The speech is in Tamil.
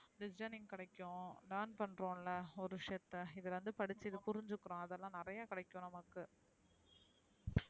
Listening கிடைக்கும் learn பண்றோம்ல ஒரு விஷயத்த இதுல இருந்து படிச்சு இது புரிஞ்சுகுறோம்அதுலா நெறைய கிடைக்கும் நமக்கு